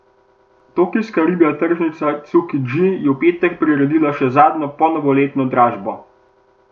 Tokijska ribja tržnica Cukidži je v petek priredila še zadnjo ponovoletno dražbo.